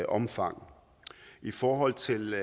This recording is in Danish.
omfang i forhold til